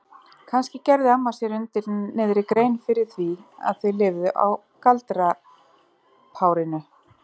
Kannski gerði amma sér undir niðri grein fyrir því að þau lifðu á galdrapárinu?